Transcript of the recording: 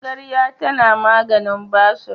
Magarya tana maganin basur.